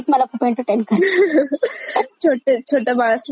छोट छोटे बाळ असल्यावर असं होत वेळ कळतच नाही कसा जातो.